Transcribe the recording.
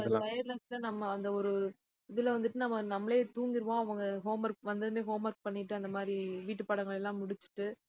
நம்ம அந்த ஒரு இதுல வந்துட்டு நம்ம நம்மளே தூங்கிருவோம் அவங்க homework வந்த உடனே homework பண்ணிட்டு, அந்த மாதிரி வீட்டுப்பாடங்கள் எல்லாம் முடிச்சுட்டு